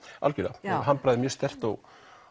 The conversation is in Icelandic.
algjörlega handbragðið er mjög sterkt og